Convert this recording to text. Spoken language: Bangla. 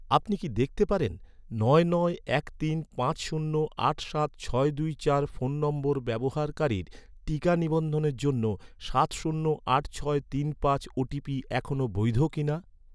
আপনি কি দেখতে পারেন, নয় নয় এক তিন পাঁচ শূন্য আট সাত ছয় দুই চার সাত শূন্য আট ছয় তিন পাঁচ ফোন নম্বর ব্যবহারকারীর টিকা নিবন্ধনের জন্য, সাত শূন্য আট ছয় তিন পাঁচ ওটিপি এখনও বৈধ কিনা?